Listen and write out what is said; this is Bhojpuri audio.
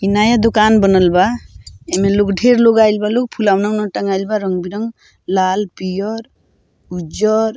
इ नया दुकान बनल बा इ में लोग ढेर लोग आइल बा लोग फुलौना-उना टँगाईल बा रंग-बिरंग लाल पिअर उज्जर।